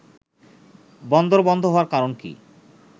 “বন্দর বন্ধ হওয়ার কারণ কি